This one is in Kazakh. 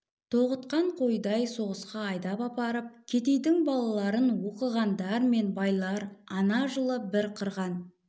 тоғытқан қойдай соғысқа айдап апарып кедейдің балаларын оқығандар мен байлар ана жылы бір қырған